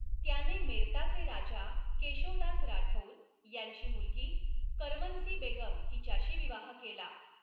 त्याने मेर्ताचे राजा केशो दास राठौर यांची मुलगी करमनसी बेगम हिच्याशी विवाह केला.